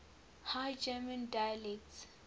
high german dialects